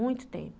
Muito tempo.